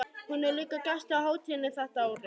Hún er líka gestur á hátíðinni þetta árið.